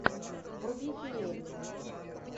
вруби феерию